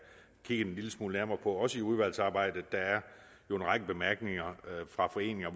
kigget en lille smule nærmere på også i udvalgsarbejdet der er jo en række bemærkninger fra foreninger